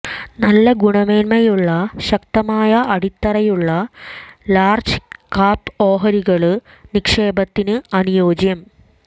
നല്ല ഗുണമേന്മയുള്ള ശക്തമായ അടിത്തറയുള്ള ലാര്ജ് കാപ് ഓഹരികള് നിക്ഷേപത്തിന് അനുയോജ്യം